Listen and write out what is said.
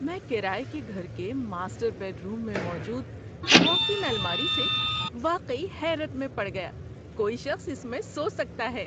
میں کرایہ کے گھر کے ماسٹر بیڈروم میں موجود واک اِن الماری سے واقعی حیرت میں پڑ گیا، کوئی شخص اس میں سو سکتا ہے۔